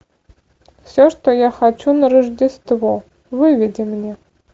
все что я хочу на рождество выведи мне